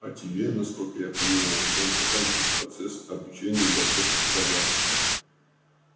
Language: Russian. а тебе насколько я понимаю надо заканчивать процесс обучения готовки пирога